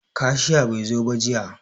Kashiya bai zo ba jiya.